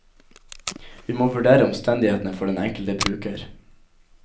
Vi må vurdere omstendighetene for den enkelte bruker.